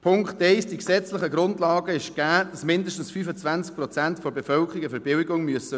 Zu Punkt 1: Die gesetzlichen Grundlagen sind gegeben, dass mindestens 25 Prozent der Bevölkerung eine Verbilligung erhalten muss.